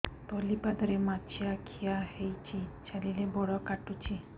ତଳିପାଦରେ ମାଛିଆ ଖିଆ ହେଇଚି ଚାଲିଲେ ବଡ଼ କାଟୁଚି